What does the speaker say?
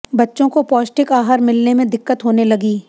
बच्चों को पौष्टिक आहार मिलने में दिक्कत होने लगी